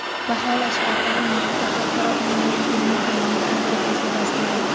baholash va ta’lim muhiti xalqaro onlayn ilmiy-amaliy konferensiya dasturi.